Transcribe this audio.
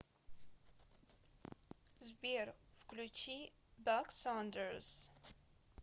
сбер включи бак сандерс